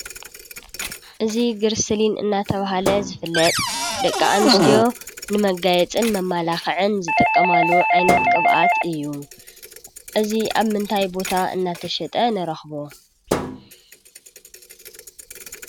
እዚ ግሪስሊን እናተባህለ ዝፍለጥ ደቂ ኣንስትዮ ንመጋየፅን መመላክዕን ዝጥቀማሉ ዓይነት ቅብኣት እዩ፡፡ እዚ ኣብ ምንታይ ቦታ እናተሸጠ ንረኽቦ?